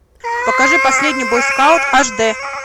покажи последний бойскаут аш д